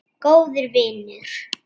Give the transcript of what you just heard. Góður vinur.